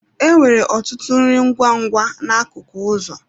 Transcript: E nwere ọtụtụ nri ngwa ngwa n'akụkụ ụzọ.